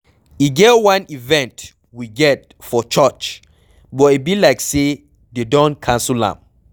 E get wan event we get for church but e be like say dey don cancel am.